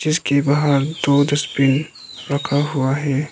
जिसके बाहर दो डस्टबिन रखा हुआ है।